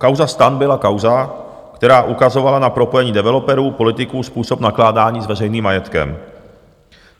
Kauza STAN byla kauza, která ukazovala na propojení developerů, politiků, způsob nakládání s veřejným majetkem.